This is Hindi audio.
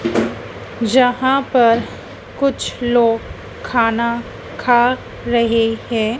जहां पर कुछ लोग खाना खा रहे हैं।